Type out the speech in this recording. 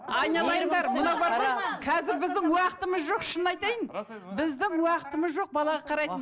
айналайындар мынау бар ғой қазір біздің уақытымыз жоқ шынын айтайын біздің уақытымыз жоқ балаға қарайтын